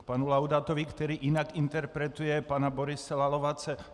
K panu Laudátovi, který jinak interpretuje pana Borise Lalovace.